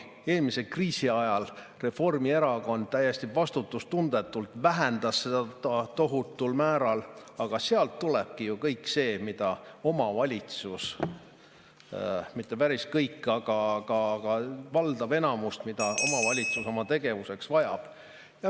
Eelmise kriisi ajal Reformierakond täiesti vastutustundetult vähendas seda tohutul määral, aga sealt tulebki ju kõik see – mitte päris kõik, aga enamus –, mida omavalitsus oma tegevuseks vajab.